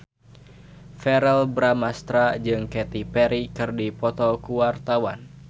Verrell Bramastra jeung Katy Perry keur dipoto ku wartawan